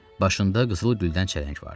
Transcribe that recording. Başında qızıl güldən çələng vardı.